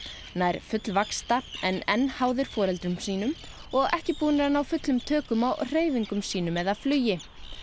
nær fullvaxta en enn háðir foreldrum sínum og ekki búnir að ná fullum tökum á hreyfingum sínum eða flugi